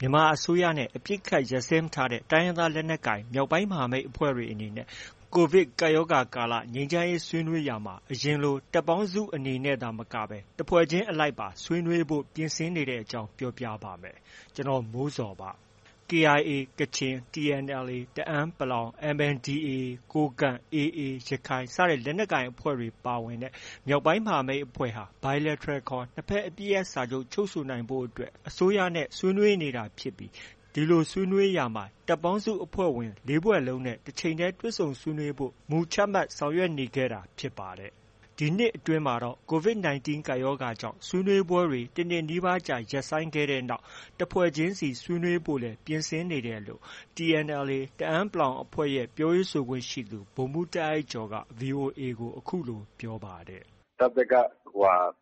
မြန်မာအစိုးရနဲ့ အပစ်အခတ် ရပ်စဲမထားတဲ့ တိုင်းရင်းသား လက်နက်ကိုင် မြောက်ပိုင်းမဟာမိတ်အဖွဲ့တွေအနေနဲ့ ကိုဗစ်ကပ်ရောဂါ ကာလ ငြိမ်းချမ်းရေး ဆွေးနွေးရာမှာ အရင်လို တပ်ပေါင်းစုအနေနဲ့ သာမကပဲ တစ်ဖွဲ့ချင်းအလိုက်ပါ ဆွေးနွေးဖို့ ပြင်ဆင်နေတဲ့အကြောင်း ပြောပြပါမယ်။ ဗွီအိုအေမြန်မာပိုင်းသတင်းထောက် ကိုမိုးဇော်က သတင်းပေးပို့ထားပါတယ်။ KIA ကချင်၊ TNLA တအန်း ၊ MNDAA ကိုးကန့်၊ AA ရခိုင်လက်နက်ကိုင်အဖွဲ့တွေပါဝင်တဲ့ မြောက်ပိုင်းမဟာမိတ် ၄ ဖွဲ့ဟာ Bilateral ခေါ် နှစ်ဘက် အပစ်ရပ်စာချုပ် ချုပ်ဆိုဖို့ အစိုးရနဲ့ ဆွေးနွေးနေတာ ဖြစ်ပြီး ဒီဆွေးနွေးရာမှာ တပ်ပေါင်းစုအဖွဲ့ဝင် ၄ ဖွဲ့လုံးနဲ့ တချိန်တည်း တွေ့ဆုံဆွေးနွေးဖို့ မူချမှတ်ဆောင်ရွက်နေခဲ့တာဖြစ်ပါတယ်။ ဒီနှစ်အတွင်းမှာတော့ COVID 19 ကပ်ရောဂါကြောင့် ဆွေးနွေးပွဲတွေ တနှစ်နီးပါးကြာ ရပ်ဆိုင်းခဲ့တဲ့နောက် တစ်ဖွဲ့ချင်းစီ ဆွေးနွေးဖို့လည်း ပြင်ဆင်နေတယ်လို့ TNLA တအန်း အဖွဲ့ရဲ့ ပြောရေးဆိုခွင့်ရှိသူ ဗိုလ်မှူး တာ့အိုက်ကျော်က VOA ကို အခုလို ပြောပါတယ်။ “တပ်ဘက်က သူတို့က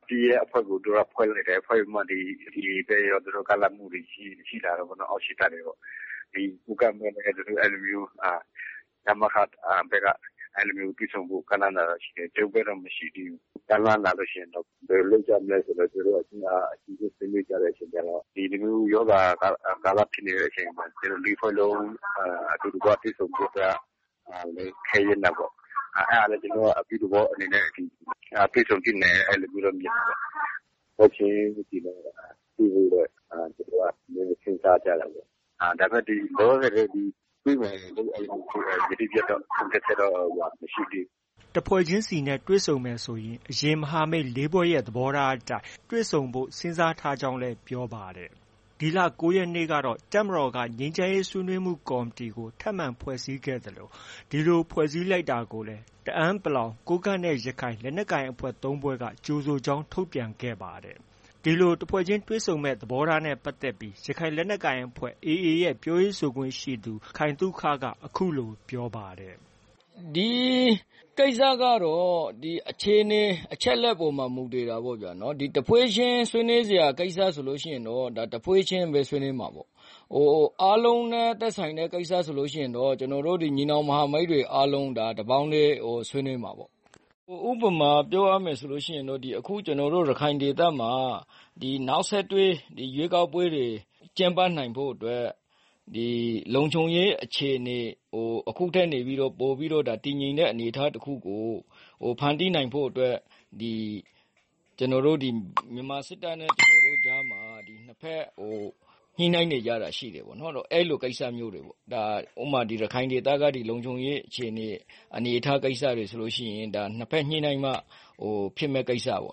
အပစ်ရပ်အဖွဲ့ကို ဖွဲ့လိုက်တယ်။ ဖွဲ့ပြီးတော့မှ AA ဘက်ရော ကမ်းလှမ်းမှုတွေ ရှိလာတာပေါ့နော်။ အောက်ခြေတပ်တွေကနေပြီးတော့မှ။ ကိုးကန့်ဘက်လည်း သူတို့ အဲလိုမျိုး ရမခဘက်က တွေ့ဆုံဖို့ ကမ်းလှမ်းတာတွေ ရှိတယ်။ ကျနော်တို့ဘက်တော့ ကမ်းလှမ်းတာ မရှိသေးဘူး။ ကမ်းလှမ်းလာလို့ ရှိရင် ဘယ်လိုလုပ်ကြမလဲဆိုပြီး အချင်းချင်း ဆွေးနွေးကြတဲ့အခါကျတော့ ဒီလိုမျိုးရောဂါကာလ ဖြစ်နေတဲ့အချိန်မှာ ကျနော်တို့ ၄ ဖွဲ့လုံး အတူတကွ တွေ့ဆုံဖို့က နည်းနည်း ခဲယဉ်းတာပေါ့။ အဲဒါနဲ့ ကျနော်တို့က အပြုသဘောအနေနဲ့ တွေ့ဆုံသင့်တယ်။ အဲဒီလိုမျိုးတော့ မြင်တာပေါ့။ တစ်ဖွဲ့ချင်းစီနဲ့ တွေ့ဖို့တော့ ကျနော်တို့က စဉ်းစားကြတာပေါ့။ ဒါပေမဲ့ လောလောဆယ်တော့ တွေ့မယ်လို့ ယတိပြတ်တော့ ဆုံးဖြတ်ချက် မရှိသေးဘူး။” တစ်ဖွဲ့ချင်းစီနဲ့ တွေ့မယ်ဆိုရင် အရင် မဟာမိတ် ၄ ဖွဲ့ရဲ့ သဘောထားအတိုင်း တွေ့ဆုံဖို့စဉ်းစားထားကြကြောင်း ပြောပါတယ်။ ဒီလ ၉ ရက်နေ့က တပ်မတော်က ငြိမ်းချမ်းရေးဆွေးနွေးမှုကော်မတီကို ထပ်မံ ဖွဲ့စည်းခဲ့သလို ဒီလို ဖွဲ့စည်းလိုက်တာကိုလည်း တအန်း ၊ ကိုးကန့်နဲ့ ရခိုင် လက်နက်ကိုင် ၃ ဖွဲ့က ကြိုဆိုကြောင်း ထုတ်ပြန်ခဲ့ပါတယ်။ ဒီလို တစ်ဖွဲ့ချင်း တွေ့ဆုံမယ့် သဘောထားနဲ့ ပတ်သက်ပြီး ရခိုင်လက်နက်ကိုင်အဖွဲ့ AA ရဲ့ ပြောရေးဆိုခွင့်ရှိသူ ခိုင်သုခက အခုလို ပြောပါတယ်။ “ဒီကိစ္စကတော့ အခြေအနေ၊ အချက်အလက်ပေါ်မှာ မူတည်တာပေါ့ဗျာ။ တစ်ဖွဲ့ချင်း ဆွေးနွေးစရာ ကိစ္စဆိုရင် တစ်ဖွဲ့ချင်း ဆွေးနွေးမှာပေါ့။ အားလုံးနဲ့ သက်ဆိုင်တဲ့ ကိစ္စဆိုရင် ကျနော်တို့ ညီနောင်မဟာမိတ်တွေအားလုံး တပေါင်းတည်း ဆွေးနွေးမှာပေါ့။ ဥပမာ ပြောရမယ်ဆိုရင် ကျနော်တို့ ရခိုင်ဒေသမှာ နောက်ဆက်တွဲ ရွေးကောက်ပွဲတွေ ကျင်းပနိုင်ဖို့အတွက် လုံခြုံရေးအခြေအနေကို အခုထက်ပိုပြီး တည်ငြိမ်တဲ့ အနေအထားတစ်ခုကို ဖန်တီးနိုင်ဖို့အတွက် ဒီ မြန်မာစစ်တပ်နဲ့ ကျနော်တို့ကြားမှာ နှစ်ဘက် ညှိနှိုင်းနေကြတာ ရှိတယ်ပေါ့။ အဲဒီလို ကိစ္စမျိုးတွေပေါ့။ ဥပမာ ရခိုင်ဒေသက ဒီလုံခြုံရေးအခြေအနေ၊ အနေအထားကိစ္စတွေဆိုလို့ရှိရင် နှစ်ဘက်ညှိနှိုင်းမှ ဖြစ်မယ့် ကိစ္စပေါ့။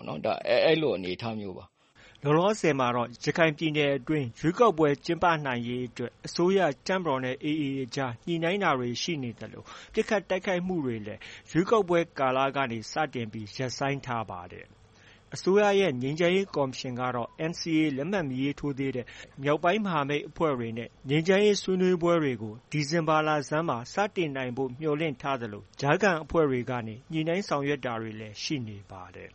အဲလို အနေအထားမျိုးပါ။” လောလောဆယ်မှာတော့ ရခိုင်ပြည်နယ်အတွင်း ရွေးကောက်ပွဲ ကျင်းပနိုင်ရေးအတွက် အစိုးရ၊ တပ်မတော်နဲ့ AA အကြား ညှိနှိုင်းတာတွေ ရှိနေသလို ပစ်ခတ်တိုက်ခိုက်မှုတွေလည်း ရွေးကောက်ပွဲကာလကနေ စတင် ရပ်ဆိုင်းထားပါတယ်။ အစိုးရရဲ့ ငြိမ်းချမ်းရေးကော်မရှင်ကတော့ NCA လက်မှတ် မရေးထိုးသေးတဲ့ မြောက်ပိုင်းမဟာမိတ်အဖွဲ့တွေနဲ့ ငြိမ်းချမ်းရေးဆွေးနွေးပွဲတွေကို ဒီဇင်ဘာလဆန်းမှာ စတင်နိုင်ဖို့ မျှော်လင့်ထားသလို ကြားခံအဖွဲ့တွေကနေ ညှိနှိုင်းဆောင်ရွက်တာတွေ ရှိနေပါတယ်။